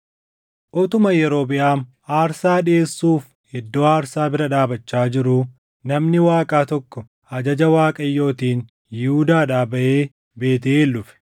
Utuma Yerobiʼaam aarsaa dhiʼeessuuf iddoo aarsaa bira dhaabachaa jiruu namni Waaqaa tokko ajaja Waaqayyootiin Yihuudaadhaa baʼee Beetʼeel dhufe.